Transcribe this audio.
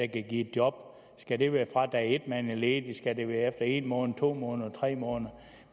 give et job skal det være fra dag et man er ledig skal det være efter en måned to måneder eller tre måneder